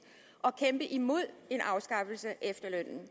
og kæmpe imod en afskaffelse af efterlønnen